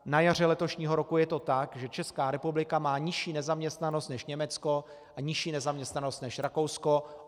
Na jaře letošního roku je to tak, že Česká republika má nižší nezaměstnanost než Německo a nižší nezaměstnanost než Rakousko.